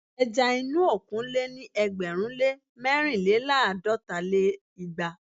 ẹja inú òkun lé ní ẹgbẹ̀rún lé mẹ́rìnléláàdọ́ta lé igba